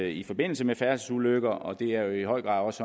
i forbindelse med færdselsulykker og det er jo i høj grad også